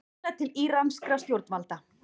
Biðlar til íranskra stjórnvalda